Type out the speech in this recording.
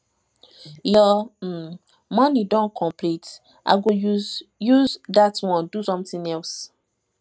your um money don complete i go use use dat wan do something else